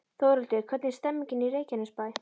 Þórhildur, hvernig er stemningin í Reykjanesbæ?